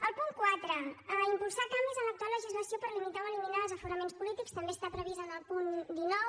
el punt quatre impulsar canvis en l’actual legislació per limitar o eliminar els aforaments polítics també està previst en el punt dinou